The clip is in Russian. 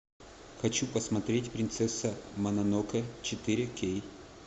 хочу посмотреть принцесса мононоке четыре кей